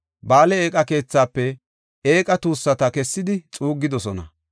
Ba7aale eeqa keethaafe eeqa tuussata kessidi xuuggidosona.